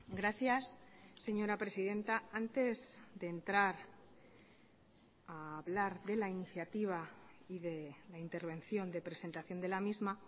gracias señora presidenta antes de entrar a hablar de la iniciativa y de la intervención de presentación de la misma